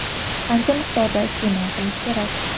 Qancha miqdorda iste’mol qilish kerak?